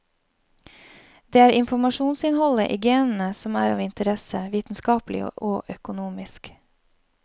Det er informasjonsinnholdet i genene som er av interesse vitenskapelig og økonomisk.